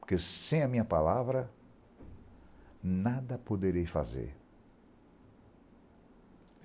Porque sem a minha palavra, nada poderei fazer.